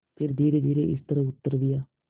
फिर धीरेधीरे इस तरह उत्तर दिया